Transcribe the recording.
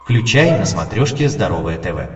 включай на смотрешке здоровое тв